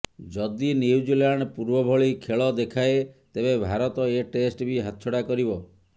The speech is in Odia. ଯଦି ନ୍ୟୁଜିଲ୍ୟାଣ୍ଡ ପୂର୍ବଭଳି ଖେଳ ଦେଖାଏ ତେବେ ଭାରତ ଏ ଟେଷ୍ଟ ବି ହାତଛଡ଼ା କରିବ